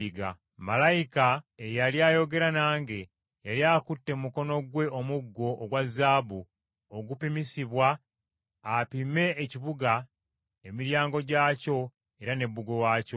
Malayika eyali ayogera nange yali akutte mu mukono gwe omuggo ogwa zaabu ogupimisibwa, apime ekibuga, emiryango gyakyo era ne bbugwe waakyo.